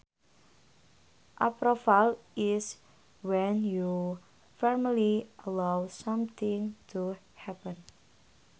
Approval is when you formally allow something to happen